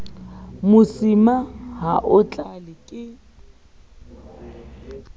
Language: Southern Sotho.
mosima ha o tlale ke